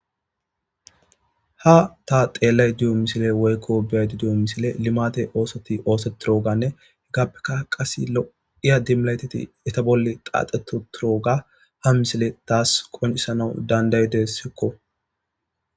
Ha ta xeellay duyo misile woykko beyaydi duyo misile limate oosoti oosetirooganne heggappeka qase lo'iya dimlayteti eta bolle qaaxetu turooga ha misile taas qoncisanawu dandaydessekko.